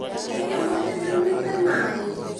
Hihi ũmũthĩ nĩ ũnywĩte maĩ ?